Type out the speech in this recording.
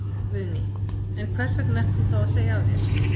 Guðný: En hvers vegna ert þú þá að segja af þér?